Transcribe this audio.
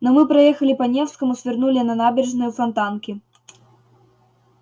но мы проехали по невскому свернули на набережную фонтанки